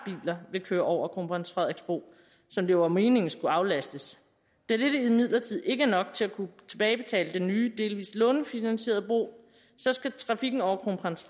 biler vil køre over kronprins frederiks bro som det var meningen skulle aflastes da dette imidlertid ikke er nok til at kunne tilbagebetale den nye delvis lånefinansierede bro skal trafikken over kronprins